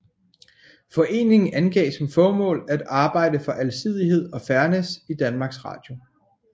Foreningen angav som formål at arbejde for alsidighed og fairness i Danmarks Radio